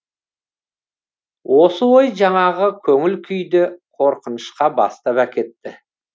осы ой жаңағы көңіл күйді қорқынышқа бастап әкетті